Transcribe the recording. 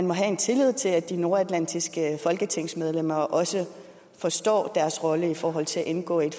må have tillid til at de nordatlantiske folketingsmedlemmer også forstår deres rolle i forhold til at indgå i